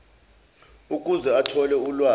ukuze athole ulwazi